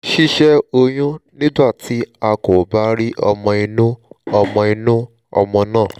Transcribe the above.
sise oyún nígbà tí a kò bá rí ọmọ inú ọmọ inú ọmọ náà?